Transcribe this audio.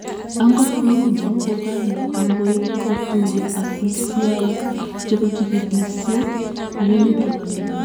Angot kou no ko kale agoi kotuiyo ak afisaiyek chebo chikilisyet eng emet ab Amerika